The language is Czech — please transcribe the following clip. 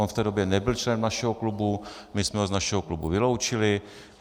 On v té době nebyl členem našeho klubu, my jsme ho z našeho klubu vyloučili.